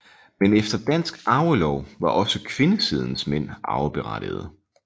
Men efter dansk arvelov var også kvindesidens mænd arveberettigede